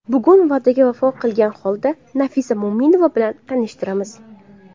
Bugun va’daga vafo qilgan holda, Nafisa Mo‘minova bilan tanishtiramiz.